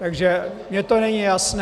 Takže mi to není jasné.